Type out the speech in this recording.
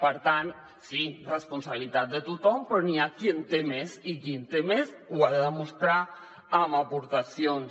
per tant sí responsabilitat de tothom però hi ha qui n’hi té més i qui n’hi té més ho ha de demostrar amb aportacions